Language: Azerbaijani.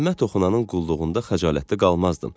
Qəlbimə toxunanın qulluğunda xəcalətdə qalmazdım.